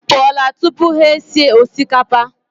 M pụọla tupu ha esi osikapa.